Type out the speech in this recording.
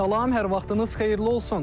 Salam, hər vaxtınız xeyirli olsun.